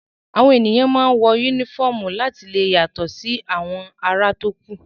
Àwọn èèyàn máa ń wọ yúnífọ̀mù láti lè yàtọ̀ sí àwọn ará tókù